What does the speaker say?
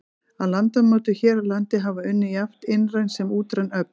Að landmótun hér á landi hafa unnið jafnt innræn sem útræn öfl.